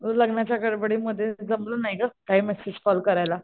लग्नाच्या गडबडीमध्ये जमलं नाही गं काय मॅसेज कॉल करायला.